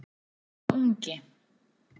spyr sá ungi.